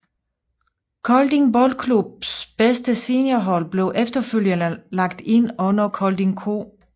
Kolding Boldklubs bedste seniorhold blev efterfølgende lagt ind under KoldingQ